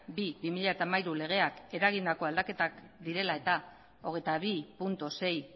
bi barra bi mila hamairu legeak eragindako aldaketak direla eta hogeita bi puntu sei